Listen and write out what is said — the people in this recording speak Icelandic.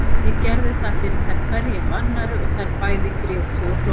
Ég gerði það fyrir þær hverja af annarri og þær bæði grétu og hlógu.